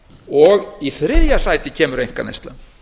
og í þriðja sæti kemur einkaneyslan